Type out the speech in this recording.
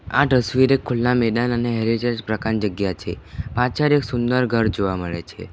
આ તસ્વીર એક ખુલ્લા મેદાન અને જ પ્રકારની જગ્યા છે પાછળ એક સુંદર ઘર જોવા મળે છે.